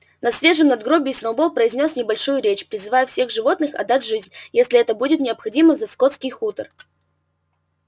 на свежем надгробии сноуболл произнёс небольшую речь призывая всех животных отдать жизнь если это будет необходимо за скотский хутор